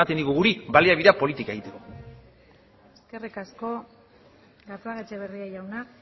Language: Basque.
digu gure baliabideak politika egiteko eskerrik asko gatzagaetxebarria jauna